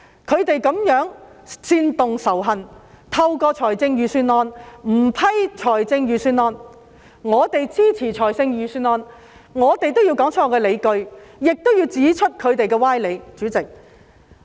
他們這樣煽動仇恨，不批准預算案，而我們支持預算案，既要說出我們的理據，亦要指出他們的歪理。